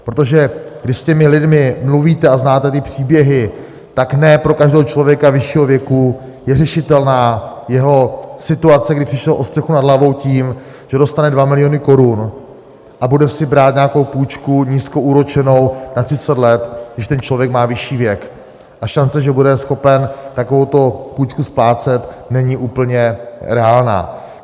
Protože když s těmi lidmi mluvíte a znáte ty příběhy, tak ne pro každého člověka vyššího věku je řešitelná jeho situace, kdy přišel o střechu nad hlavou, tím, že dostane 2 miliony korun a bude si brát nějakou půjčku nízkoúročenou na 30 let, když ten člověk má vyšší věk, a šance, že bude schopen takovouto půjčku splácet, není úplně reálná.